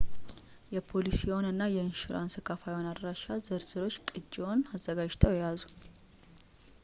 የፖሊሲዎን እና የኢንሹራንስ ከፋይዎን አድራሻ ዝርዝሮች ቅጅዎች አዘጋጅተው ይያዙ